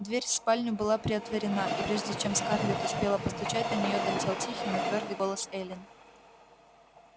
дверь в спальню была приотворена и прежде чем скарлетт успела постучать до нее долетел тихий но твёрдый голос эллин